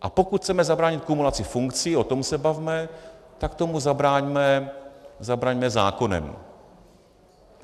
A pokud chceme zabránit kumulaci funkcí, o tom se bavme, tak tomu zabraňme zákonem.